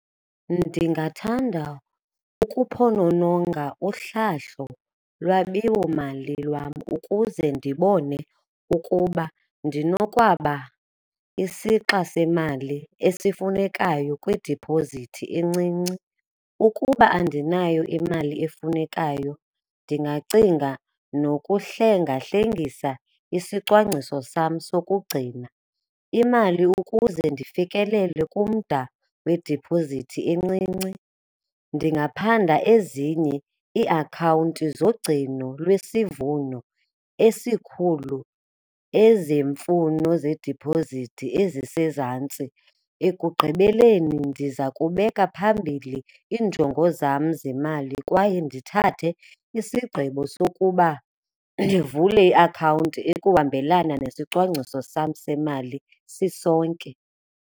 Ndingathanda ukuphonononga uhlahlo lwabiwomali lwam ukuze ndibone ukuba ndinokwaba isixa semali esifunekayo kwidiphozithi encinci. Ukuba andinayo imali efunekayo, ndingacinga nokuhlengahlengisa isicwangciso sam sokugcina imali ukuze ndifikelele kumda wediphozithi encinci. Ndingaphanda ezinye iiakhawunti zogcino lwesivuno esikhulu ezemfuno zediphozithi ezisezantsi. Ekugqibeleni ndiza kubeka phambili iinjongo zam zemali kwaye ndithathe isigqibo sokuba ndivule iakhawunti ekuhambelana nesicwangciso sam semali sisonke.